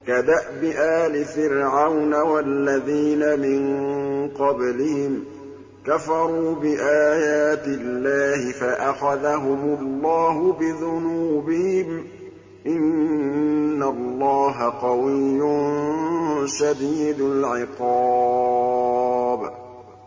كَدَأْبِ آلِ فِرْعَوْنَ ۙ وَالَّذِينَ مِن قَبْلِهِمْ ۚ كَفَرُوا بِآيَاتِ اللَّهِ فَأَخَذَهُمُ اللَّهُ بِذُنُوبِهِمْ ۗ إِنَّ اللَّهَ قَوِيٌّ شَدِيدُ الْعِقَابِ